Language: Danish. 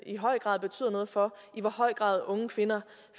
i høj grad betyder noget for i hvor høj grad unge kvinder